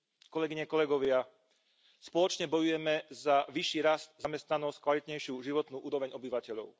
Kolegyne, kolegovia, spoločne bojujeme za vyšší rast, zamestnanosť, kvalitnejšiu životnú úroveň obyvateľov.